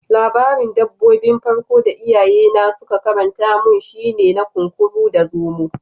Labarin dabbobi 'n farko da iyaye na sun karanta mun shine na Kunkuru da Zomo.